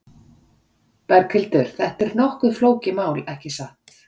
Berghildur, þetta er nokkuð flókið mál, ekki satt?